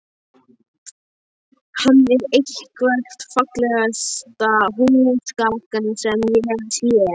Hann er eitthvert fallegasta húsgagn sem ég hef séð.